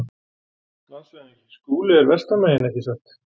LANDSHÖFÐINGI: Skúli er vestan megin, ekki satt?